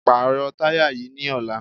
Pàrọ̀ táyà yìí ní ọ̀la!